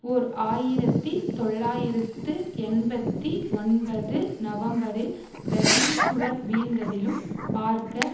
ஓர் ஆயிரத்தி தொள்ளாயிரத்து எண்பத்தி ஒன்பது நவம்பரில் பெர்லின் சுவர் வீழ்ந்ததிலும் பார்க்க